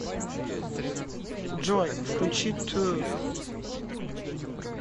джой включи т у у